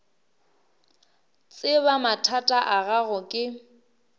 tseba mathata a gago ke